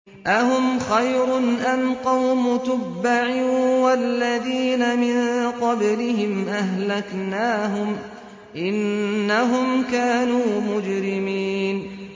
أَهُمْ خَيْرٌ أَمْ قَوْمُ تُبَّعٍ وَالَّذِينَ مِن قَبْلِهِمْ ۚ أَهْلَكْنَاهُمْ ۖ إِنَّهُمْ كَانُوا مُجْرِمِينَ